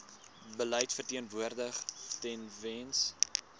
beleid verteenwoordig tewens